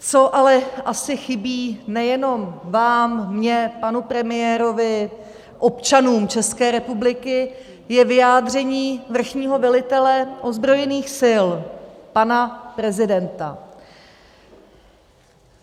Co ale asi chybí nejenom vám, mně, panu premiérovi, občanům České republiky, je vyjádření vrchního velitele ozbrojených sil, pana prezidenta.